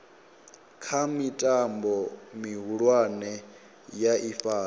kha mitambo mihulwane ya ifhasi